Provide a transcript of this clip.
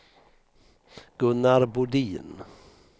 Gunnar Bodin